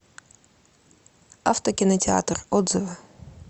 автокинотеатр отзывы